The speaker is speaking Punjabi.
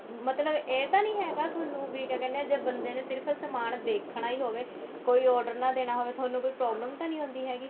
ਮਤਲਬ ਇਹ ਤਾਂ ਨਹੀਂ ਹੈਗਾ ਤੁਹਾਨੂੰ ਵੀ ਕਿਹਾ ਕਹਿਣੇ ਹਾਂ ਜ਼ੇ ਬੰਦੇ ਨੇ ਸਿਰਫ਼ ਸਮਾਨ ਦੇਖਣਾ ਹੀ ਹੋਵੇ ਕੋਈ order ਨਾ ਦੇਣਾ ਹੋਵੇ ਤੁਹਾਨੂੰ ਕੋਈ problem ਤਾਂ ਨਹੀਂ ਆਉਂਦੀ ਹੈਗੀ